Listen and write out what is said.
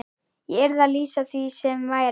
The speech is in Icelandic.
Ég yrði að lýsa því sem væri.